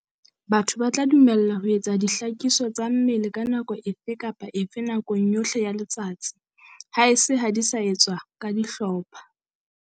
Batho ba tla dumellwa ho etsa dihlakiso tsa mmele ka nako efe kapa efe nakong yohle ya letsatsi, haese ha di sa etswe ka dihlopha.